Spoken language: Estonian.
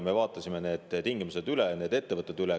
Me vaatasime üle need tingimused ja need ettevõtted.